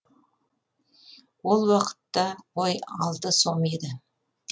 ол уақытта қой алты сом еді